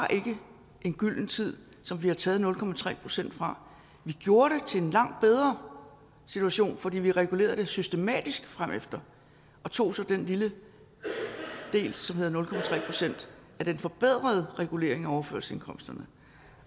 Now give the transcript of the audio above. en gylden tid som vi har taget nul procent fra vi gjorde til en langt bedre situation fordi vi regulerede det systematisk fremefter og tog så den lille del som hedder nul procent af den forbedrede regulering af overførselsindkomsterne